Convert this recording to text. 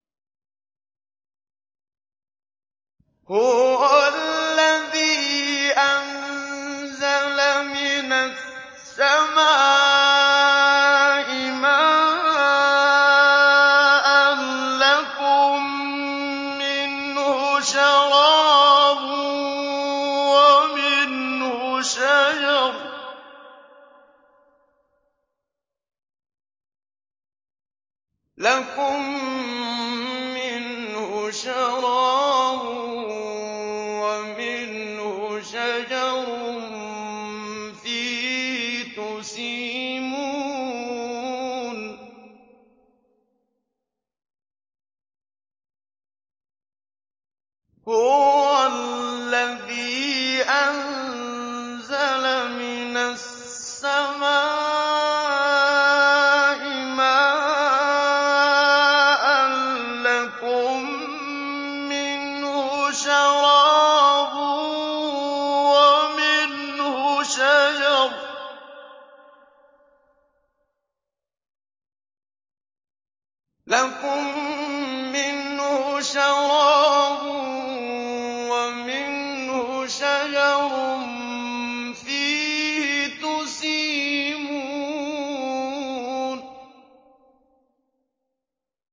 هُوَ الَّذِي أَنزَلَ مِنَ السَّمَاءِ مَاءً ۖ لَّكُم مِّنْهُ شَرَابٌ وَمِنْهُ شَجَرٌ فِيهِ تُسِيمُونَ